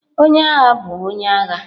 Onye agha bụ onye agha.